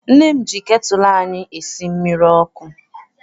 Nne m ji ketụlụ anyị esi mmiri ọkụ.